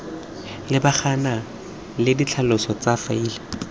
lebagana le ditlhaloso tsa faele